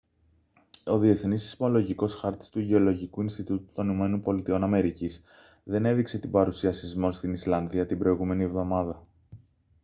ο διεθνής σεισμολογικός χάρτης του γεωλογικού ινστιτούτου των ηπα δεν έδειξε την παρουσία σεισμών στην ισλανδία την προηγούμενη εβδομάδα